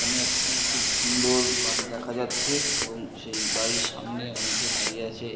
সেখানে একটি খুব সুন্দর বাড়ি দেখা যাচ্ছে-এ এবং সেই বাড়ির সামনে অনেকে দাঁড়িয়ে আছে--